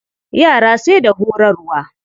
Yara sai da horarwa.